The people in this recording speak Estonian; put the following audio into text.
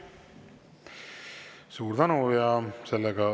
Suur tänu!